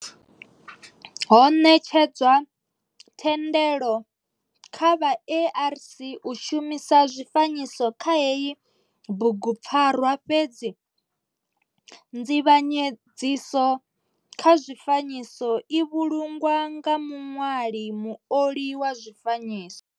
Ho netshedzwa thendelo kha vha ARC u shumisa zwifanyiso kha heyi bugupfarwa fhedzi nzivhanyedziso kha zwifanyiso i vhulungwa nga muṋwali muoli wa zwifanyiso.